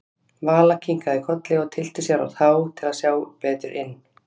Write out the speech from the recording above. Vala kinkaði kolli og tyllti sér á tá til að sjá betur inn.